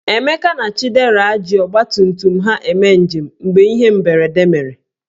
Emeka na Chidera ji ọgbatumtum ha eme njem mgbe ihe mberede mere.